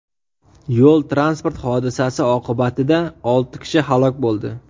Yo‘l-transport hodisasi oqibatida olti kishi halok bo‘ldi.